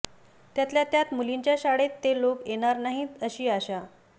त्यातल्या त्यात मुलींच्या शाळेत ते लोक येणार नाहीत अशी आशा